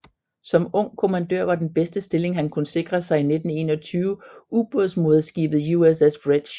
Som ung kommandør var den bedste stilling han kunne sikre sig i 1921 ubådsmoderskibet USS Bridge